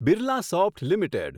Birlasoft limited